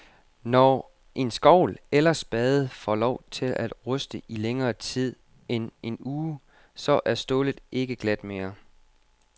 Når en skovl eller spade får lov til at ruste i længere tid end en uge, så er stålet ikke glat mere.